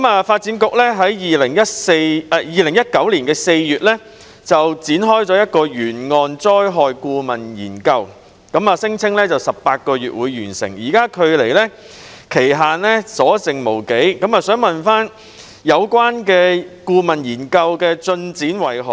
發展局在2019年4月展開一項沿岸災害顧問研究，聲稱需時18個月完成，現在距離期限的日子不多，我想問有關顧問研究的進展如何？